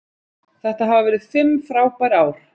Þetta hafa verið fimm frábær ár.